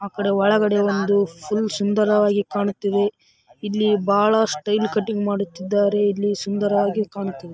ಆ ಕಡೆ ಒಳಗಡೆ ಒಂದು ಫುಲ್ ಸುಂದರವಾಗಿ ಕಾಣುತ್ತಿವೆ ಇಲ್ಲಿ ಬಹಳ ಸ್ಟೈಲ್‌ ಕಟ್ಟಿಂಗ್‌ ಮಾಡುತ್ತಿದ್ದಾರೆ ಇಲ್ಲಿ ಸುಂದರವಾಗಿ ಕಾಣುತ್ತಿದೆ.